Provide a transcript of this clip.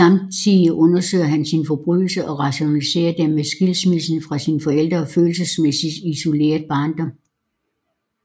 Samtidig undersøger han sine forbrydelser og rationaliserer dem med skilsmissen fra sine forældre og følelsesmæssigt isolerede barndom